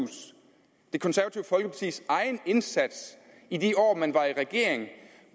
folkepartis egen indsats i de år man var i regeringen